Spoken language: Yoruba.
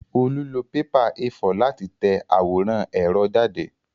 Olú lọ pépà A4 láti tẹ àwòrán ẹ̀rọ jáde